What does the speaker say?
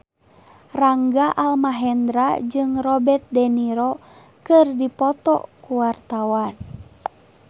Rangga Almahendra jeung Robert de Niro keur dipoto ku wartawan